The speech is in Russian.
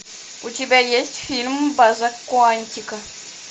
у тебя есть фильм база куантико